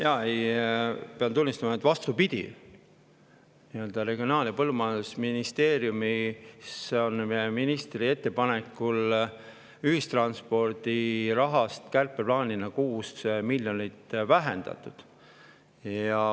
Ma pean tunnistama, et vastupidi, Regionaal‑ ja Põllumajandusministeeriumis on ministri ettepanekul kärpeplaani järgi ühistranspordiraha 6 miljoni euro võrra vähendatud.